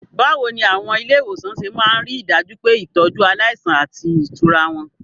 Báwo ni àwọn ilé ìwòsàn ṣe máa ń rí i dájú pé ìtọ́jú aláìsàn àti ìtura wà?